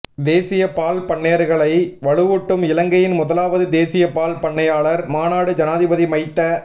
தேசிய பால் பண்ணையாளர்களை வலுவூட்டும் இலங்கையின் முதலாவது தேசிய பால் பண்ணையாளர் மாநாடு ஜனாதிபதி மைத்த